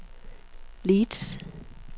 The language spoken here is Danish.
Leeds